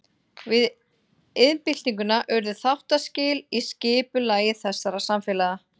Við iðnbyltinguna urðu þáttaskil í skipulagi þessara samfélaga.